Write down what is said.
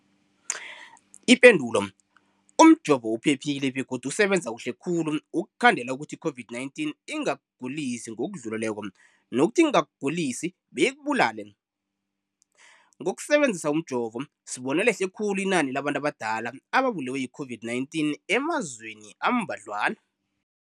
Ipendulo, umjovo uphephile begodu usebenza kuhle khulu ukukhandela ukuthi i-COVID-19 ingakugulisi ngokudluleleko, nokuthi ingakugulisi beyikubulale. Ngokusebe nzisa umjovo, sibone lehle khulu inani labantu abadala ababulewe yi-COVID-19 emazweni ambadlwana.